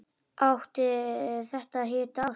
Átti þetta að heita ást?